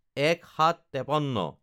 ০১/০৭/৫৩